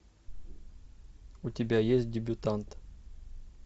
у тебя есть дебютант